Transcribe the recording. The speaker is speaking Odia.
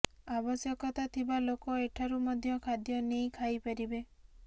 ଆବଶ୍ୟକତା ଥିବା ଲୋକ ଏଠାରୁ ମଧ୍ୟ ଖାଦ୍ୟ ନେଇ ଖାଇପାରିବେ